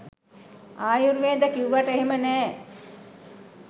ආයුර්වේද කිව්වට එහෙම නෑ